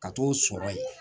Ka t'o sɔrɔ yen